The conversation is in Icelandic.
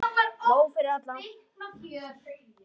Nóg fyrir alla!